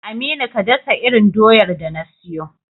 Aminu, ka dasa irin doyar da na siyo.